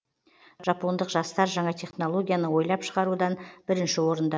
жапондық жастар жаңа технологияны ойлап шығарудан бірінші орында